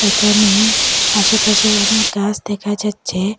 এখানে আসেপাশে অনেক গাস দেখা যাচ্ছে।